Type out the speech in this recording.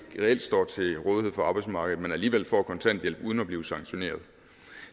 står til rådighed for arbejdsmarkedet men alligevel får kontanthjælp uden at blive sanktioneret